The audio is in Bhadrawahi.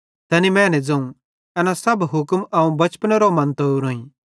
तैनी मैने ज़ोवं एना सब हुक्म अवं बचपनेरो मन्तो ओरोईं